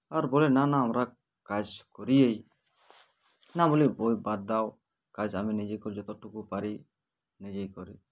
আর বলে না না আমরা কাজ করিয়েই না বলে বাদ দাও কাজ আমি নিজে করলে যতটুকুই পারি নিজেই করি